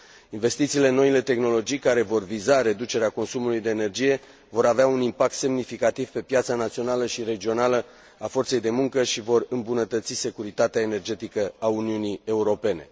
Investițiile în noile tehnologii care vor viza reducerea consumului de energie vor avea un impact semnificativ pe piața națională și regională a forței de muncă și vor îmbunătăți securitatea energetică a Uniunii Europene.